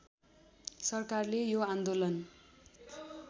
सरकारले यो आन्दोलन